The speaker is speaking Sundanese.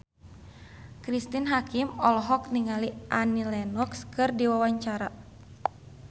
Cristine Hakim olohok ningali Annie Lenox keur diwawancara